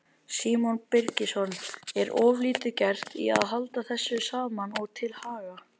Símon Birgisson: Er of lítið gert í að halda þessu saman og til haga?